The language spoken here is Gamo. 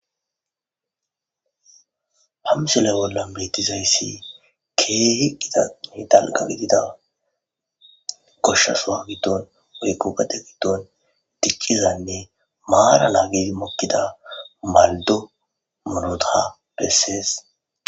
Ha misole bolla betizayssi keehi gidanne dalqagidida goshsha soa giddon wory gubate giddon diqqizaynne maara laagedi mokkida maldo murotha bessees.